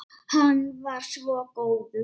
Hann var svo góður.